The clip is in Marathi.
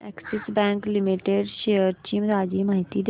अॅक्सिस बँक लिमिटेड शेअर्स ची ताजी माहिती दे